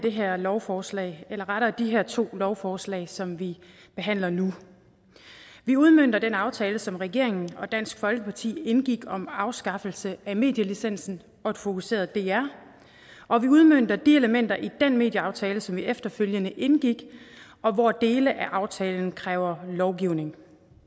det her lovforslag eller rettere de her to lovforslag som vi behandler nu vi udmønter den aftale som regeringen og dansk folkeparti indgik om afskaffelse af medielicensen og et fokuseret dr og vi udmønter de elementer i den medieaftale som vi efterfølgende indgik og hvor dele af aftalen kræver lovgivning